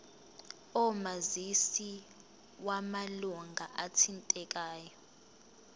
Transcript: omazisi wamalunga athintekayo